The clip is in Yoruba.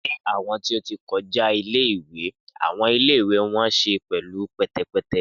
Ni awọn ti o ti kọja ile-iwe awọn ile-iwe wọn ṣe pẹlu pẹtẹpẹtẹ.